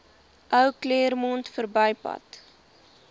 ou claremont verbypad